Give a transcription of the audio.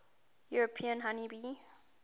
european honey bee